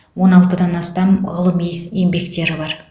он алтыдан астам ғылыми еңбектері бар